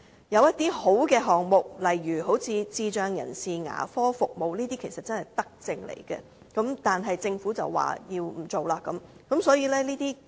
有些良好的項目，例如智障人士牙科服務其實真正是德政，但政府卻表示不推行。